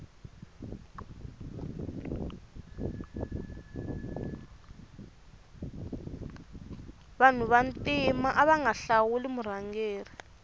vanu va ntima avanga hlawuli murhangeri